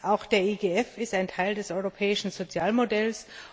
Auch der EGF ist ein Teil des europäischen Sozialmodells.